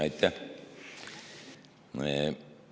Aitäh!